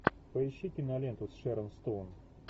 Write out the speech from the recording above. поищи киноленту с шерон стоун